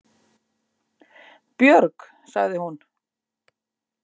Björg, sagði hún.